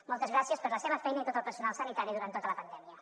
moltes gràcies per la seva feina i a tot el personal sanitari durant tota la pandèmia